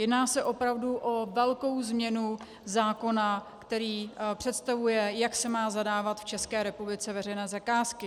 Jedná se opravdu o velkou změnu zákona, který představuje, jak se mají zadávat v České republice veřejné zakázky.